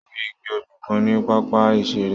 Mo rí igi obì kan ní pápá ìṣeré.